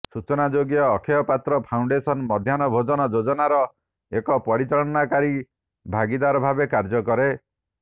ସୂଚନାଯୋଗ୍ୟ ଅକ୍ଷୟ ପାତ୍ର ଫାଉଣ୍ଡେସନ ମଧ୍ୟାହ୍ନ ଭୋଜନ ଯୋଜନାର ଏକ ପରିଚାଳନାକାରୀ ଭାଗୀଦାର ଭାବେ କାର୍ଯ୍ୟ କରେ